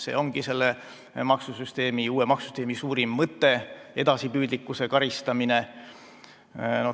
See ongi selle uue maksusüsteemi suurim mõte – edasipüüdlikkuse karistamine.